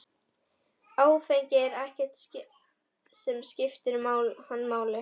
Áfengi er ekkert sem skiptir hann máli.